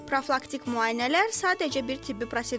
Profilaktik müayinələr sadəcə bir tibbi prosedur deyil.